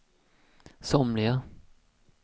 somliga